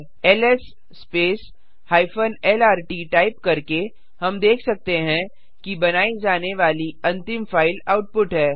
LS hyphen lrt type करके हम देख सकते हैं कि बनाई जाने वाली अंतिम फाइल आउटपुट है